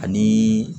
Ani